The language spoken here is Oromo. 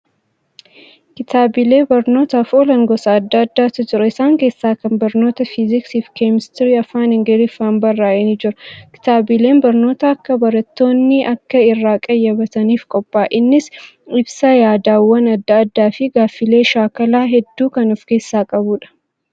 Kitaabilee barnootaaf oolan gosa adda addaatu jira. Isaan keessaa kan barnoota Fiiziksii fi keemistirii afaan Ingiliffaan barraa'ee ni jira. Kitaabileen barnoota akka barattoonni akka irraa qayyabataniif qophaa'a. Innis ibsa yaadawwan adda addaa fi gaaffillee shaakalaa hedduu kan of keessaa qabuudha.